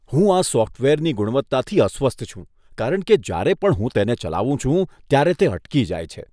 હું આ સોફ્ટવેરની ગુણવત્તાથી અસ્વસ્થ છું કારણ કે જ્યારે પણ હું તેને ચલાવું છું, ત્યારે તે અટકી જાય છે.